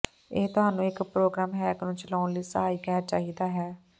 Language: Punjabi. ਇਹ ਤੁਹਾਨੂੰ ਇੱਕ ਪ੍ਰੋਗਰਾਮ ਹੈਕ ਨੂੰ ਚਲਾਉਣ ਲਈ ਸਹਾਇਕ ਹੈ ਚਾਹੀਦਾ ਹੈ